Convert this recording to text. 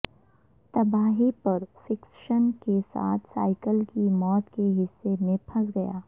تباہی پر فکسشن کے ساتھ سائیکل کی موت کے حصے میں پھنس گیا